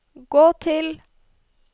gå til